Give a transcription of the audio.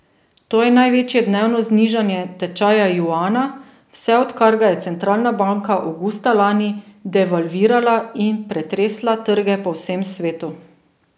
To je največje dnevno znižanje tečaja juana, vse odkar ga je centralna banka avgusta lani devalvirala in pretresla trge po vsem svetu.